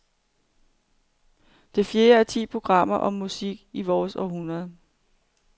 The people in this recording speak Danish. Det fjerde af ti programmer om musikken i vort århundrede.